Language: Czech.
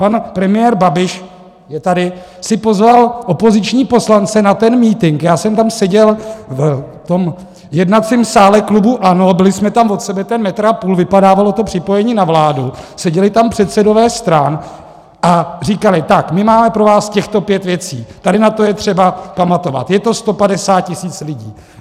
Pan premiér Babiš - je tady - si pozval opoziční poslance na ten mítink, já jsem tam seděl v tom jednacím sále klubu ANO, byli jsme tam od sebe ten metr a půl, vypadávalo to připojení na vládu, seděli tam předsedové stran a říkali: tak, my máme pro vás těchto pět věcí, tady na to je třeba pamatovat, je to 150 tisíc lidí.